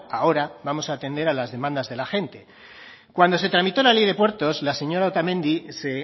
ahora vamos a atender las demandas de la gente cuando se tramitó la ley de puertos la señora otamendi se